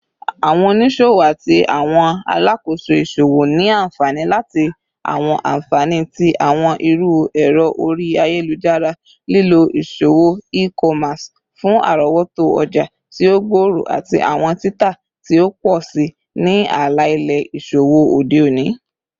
Awọn oniṣowo ati awọn alakoso iṣowo ni anfani lati awọn anfani ti awọn iru ẹrọ ori ayelujara, lilo iṣowo e-commerce fun arọwọto ọja ti o gbooro ati awọn tita ti o pọ si ni ala-ilẹ iṣowo ode oni.